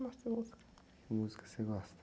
Como assim, música?ue música você gosta?